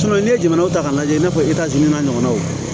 n'i ye jamana ta k'a lajɛ i n'a fɔ e n'a ɲɔgɔnnaw